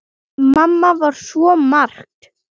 Mamma var svo margt.